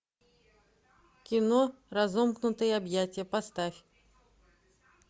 кино разомкнутые объятия поставь